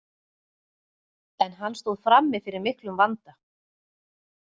En hann stóð frammi fyrir miklum vanda.